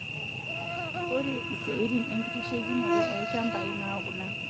Ore isiatin enkitasheikinoto olchambai naa kuna;